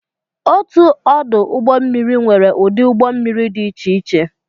Otu ọdụ ụgbọ mmiri nwere ụdị ụgbọ mmiri dị iche iche